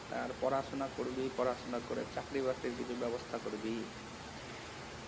আর পড়াশোনা করবি পড়াশোনা করে চাকরি বাকরির কিছু ব্যবস্থা করবি?